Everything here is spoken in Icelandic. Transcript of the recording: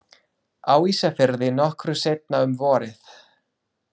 Á Ísafirði nokkru seinna um vorið.